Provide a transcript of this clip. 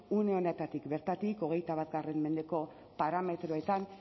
une honetatik bertatik hogeita bat mendeko parametroetan